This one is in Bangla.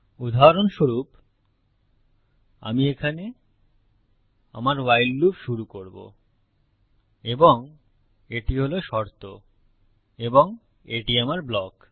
উদাহরণস্বরূপ আমি এখানে আমার ভাইল লুপ শুরু করব এবং এটি হল শর্ত এবং এটি আমার ব্লক